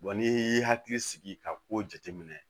n'i y'i hakili sigi ka ko jate minɛ